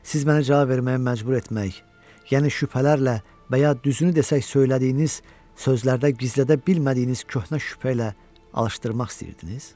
Siz məni cavab verməyə məcbur etmək, yəni şübhələrlə və ya düzünü desək, söylədiyiniz sözlərdə gizlədə bilmədiyiniz köhnə şübhə ilə alışdırmaq istəyirdiniz?